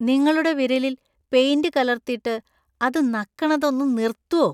നിങ്ങളുടെ വിരലിൽ പെയിന്‍റ് കലർത്തിട്ട് അത് നക്കണത് ഒന്ന് നിർത്തോ.